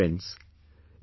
Friends,